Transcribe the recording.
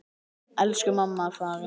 Elsku mamma er farin.